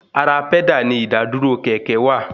Ara pẹ́dà ni ìdàdúró kẹ̀kẹ́ wà